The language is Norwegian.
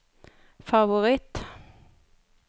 favoritt